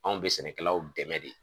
Anw be sɛnɛkɛlaw dɛmɛ de.